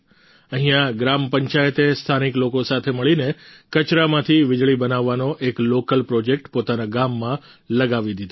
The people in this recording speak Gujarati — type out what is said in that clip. અહીંયા ગ્રામ પંચાયતે સ્થાનિક લોકો સાથે મળીને કચરામાંથી વિજળી બનાવાનો એક લોકલ પ્રોજેક્ટ પોતાના ગામમાં લગાવી દીધો છે